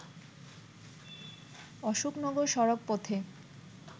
অশোকনগর সড়ক পথে